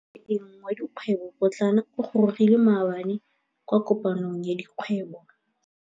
Moêng wa dikgwêbô pôtlana o gorogile maabane kwa kopanong ya dikgwêbô.